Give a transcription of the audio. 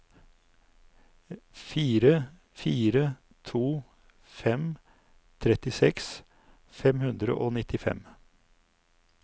fire fire to fem trettiseks fem hundre og nittifem